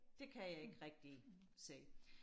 det kan jeg ikke rigtig se